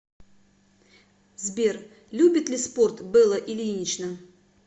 сбер любит ли спорт белла ильинична